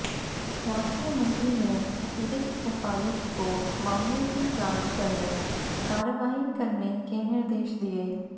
स्वास्थ्य मंत्री ने अतिरिक्त उपायुक्त को मामले की जांच करके कार्रवाई करने के निर्देश दिये